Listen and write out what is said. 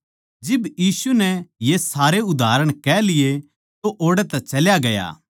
जिब यीशु नै ये सारे उदाहरण कह लिये तो ओड़ै तै चल्या गया